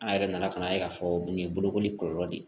An yɛrɛ nana ka na ye ka fɔ nin ye bolokoli kɔlɔlɔ de ye